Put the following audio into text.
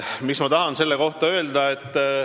Mis ma tahan selle kohta öelda?